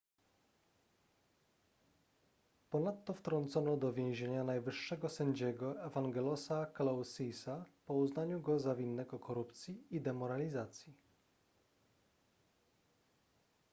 ponadto wtrącono do więzienia najwyższego sędziego evangelosa kalousisa po uznaniu go za winnego korupcji i demoralizacji